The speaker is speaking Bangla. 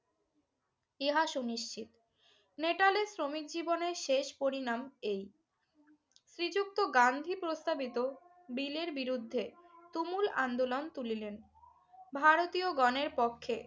ইহা সুনিশ্চিত। নেটালের শ্রমিকজীবনে শেষ পরিণাম এই। শ্রীযুক্ত গান্ধী প্রস্তাবিত বিলের বিরুদ্ধে তুমুল আন্দোলন তুলিলেন। ভারতীয়গণের পক্ষে